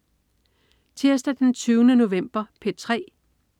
Tirsdag den 20. november - P3: